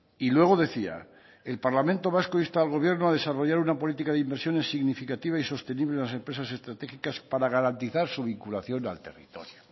y luego decía el parlamento vasco insta al gobierno a desarrollar una política de inversiones significativa y sostenible en las empresas estratégicas para garantizar su vinculación al territorio